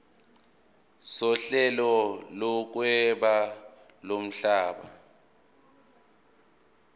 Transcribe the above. sohlelo lokuhweba lomhlaba